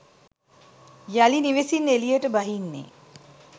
යළි නිවෙසින් එළියට බහින්නේ